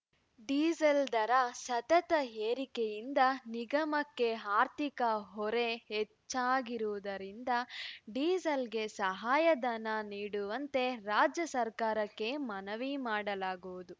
diesel ದರ ಸತತ ಏರಿಕೆಯಿಂದ ನಿಗಮಕ್ಕೆ ಆರ್ಥಿಕ ಹೊರೆ ಹೆಚ್ಚಾಗಿರುವುದರಿಂದ ಡೀಸೆಲ್‌ಗೆ ಸಹಾಯ ಧನ ನೀಡುವಂತೆ ರಾಜ್ಯ ಸರ್ಕಾರಕ್ಕೆ ಮನವಿ ಮಾಡಲಾಗುವುದು